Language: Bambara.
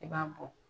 I b'a bɔ